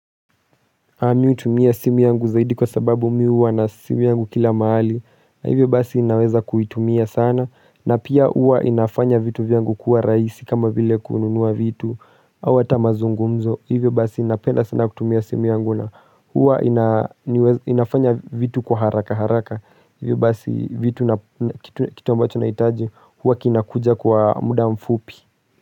Mi hutumia simu yangu zaidi kwa sababu mimi huwa na simu yangu kila mahali na hivyo basi ninaweza kuitumia sana na pia huwa inafanya vitu vyangu kuwa rahisi kama vile kununua vitu hata mazungumzo Hivyo basi napenda sana kutumia simu yangu na huwa inafanya vitu kwa haraka haraka Hivyo basi vitu na kitu ambacho naitaji huwa kinakuja kwa muda mfupi.